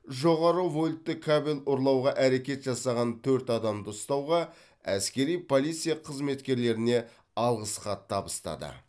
жоғары вольтты кабель ұрлауға әрекет жасаған төрт адамды ұстауға әскери полиция қызметкерлеріне алғыс хат табыстады